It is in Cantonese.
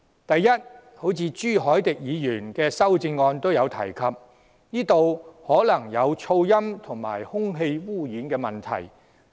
第一，正如朱凱廸議員的修正案也提及，當中可能涉及噪音及空氣污染問題。